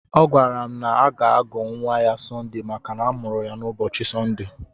Ọ gwara m na ọ ga-agọ nwa ya Sọnde maka na amụrụ ya n'ụbọchị Sọnde.